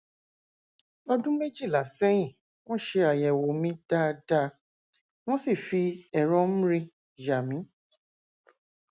ọdún méjìlá sẹyìn wọn ṣe àyẹwò mi dáadáa wọn sì fi ẹrọ mri yà mí